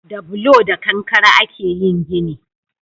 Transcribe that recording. Da bulo da kankare a ke yin gini